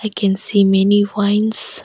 I can see many wines.